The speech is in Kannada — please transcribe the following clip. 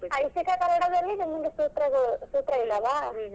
ಐಚ್ಚಿಕ ಕನ್ನಡದಲ್ಲಿ ನಿಮ್ಗೆ ಸೂತ್ರಗಳು ಸೂತ್ರ ಇದಾವಾ?